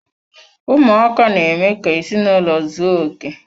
Ụmụaka na-eme ka ezinaụlọ ụzọ oké.